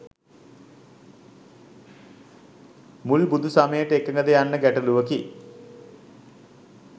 මුල් බුදු සමයට එකඟ ද යන්න ගැටලුවකි.